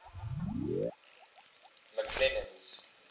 mcclennan's